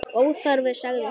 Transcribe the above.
Óþarfi, sagði hann.